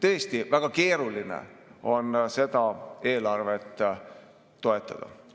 Tõesti, väga keeruline on seda eelarvet toetada.